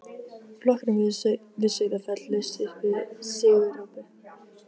Flokkurinn við Sauðafell laust upp sigurópi.